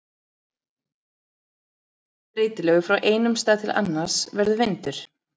Ef loftþrýstingur er breytilegur frá einum stað til annars verður vindur.